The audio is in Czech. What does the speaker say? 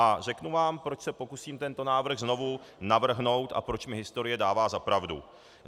A řeknu vám, proč se pokusím tento návrh znovu navrhnout a proč mi historie dává za pravdu.